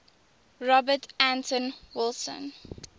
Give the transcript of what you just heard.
robert anton wilson